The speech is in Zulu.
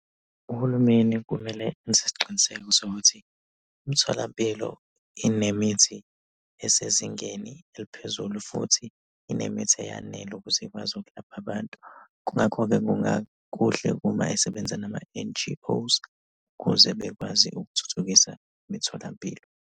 Uhulumeni kumele enze isiqiniseko sokuthi imtholampilo inemithi esezingeni eliphezulu, futhi inemithi eyanele ukuze ikwazi ukulapha abantu. Kungakho-ke kungakuhle uma esebenza nama-N_G_O, ukuze bekwazi ukuthuthukisa imitholampilo.